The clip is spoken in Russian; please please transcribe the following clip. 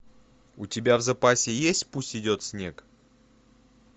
у тебя в запасе есть пусть идет снег